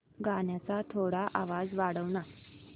गाण्याचा थोडा आवाज वाढव ना